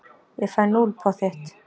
Ég fæ núll, pottþétt.